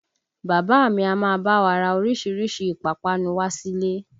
Bàbá a mi a máa bá wa ra orísìírísìí ìpápánu wá sílé